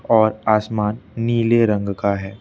और आसमान नीले रंग का है।